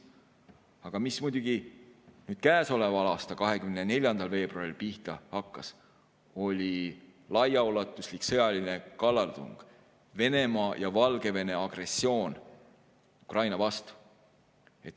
Aga mis muidugi nüüd käesoleva aasta 24. veebruaril pihta hakkas, oli laiaulatuslik sõjaline kallaletung, Venemaa ja Valgevene agressioon Ukraina vastu.